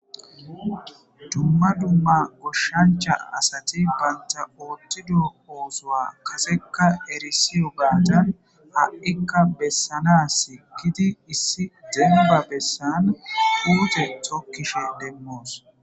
Dumma dumma goshshancha asati baynta oottido oosoa kaseka erisiyo gaatan ha'ikka bessana si gidi issi deemba bessan uute tokkishe demmoos.